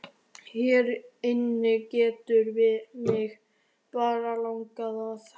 Hér inni getur mig bara langað að.